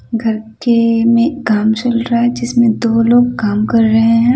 घर के मे काम चल रहा है जिसमें दो लोग काम कर रहे हैं।